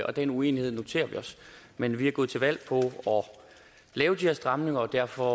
og den uenighed noterer vi os men vi er gået til valg på at lave de her stramninger og derfor